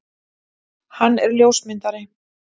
Hann er ljósmyndari.